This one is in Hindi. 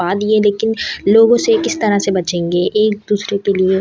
बात ये है लेकिन लोगों से किस तरह से बचेंगे एक दूसरे के लिए--